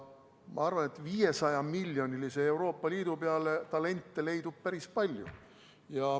Ma arvan, et 500-miljonilise Euroopa Liidu peale leidub talente päris palju.